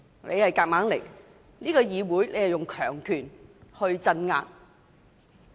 你在議會內硬來，使用強權鎮壓。